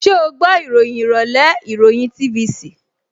Ṣẹ́ o gbọ́ ìròyìn ìrọ̀lẹ́ ìròyìn TVC?